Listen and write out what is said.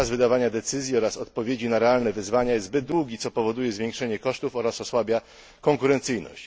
Czas wydawania decyzji oraz odpowiedzi na realne wyzwania jest zbyt długi, co powoduje zwiększenie kosztów oraz osłabia konkurencyjność.